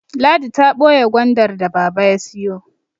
Ladi ta boye Gwandar da baba ya siyo